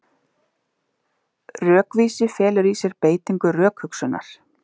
Rökvísi felur í sér beitingu rökhugsunar.